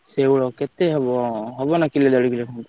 ଶେଉଳ କେତେ ହବ ହବନାଁ କିଲେ ଦେଢ କିଲେ ଖଣ୍ଡେ?